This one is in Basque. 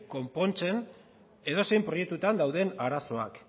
konpontzen edozein proiektuetan dauden arazoak